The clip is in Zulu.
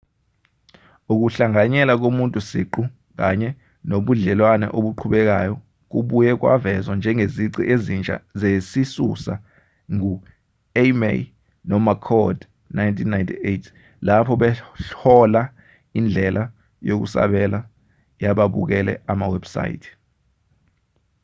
"ukuhlanganyela komuntu siqu kanye nobudlelwane obuqhubekayo kubuywe kwavezwa njengezici ezintsha zesisusa ngu-eighmey nomccord 1998 lapho behlola indlela yokusabela yababukele amawebhusayithi